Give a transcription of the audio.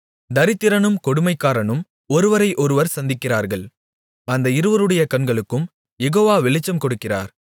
தரித்திரனும் கொடுமைக்காரனும் ஒருவரையொருவர் சந்திக்கிறார்கள் அந்த இருவருடைய கண்களுக்கும் யெகோவா வெளிச்சம் கொடுக்கிறார்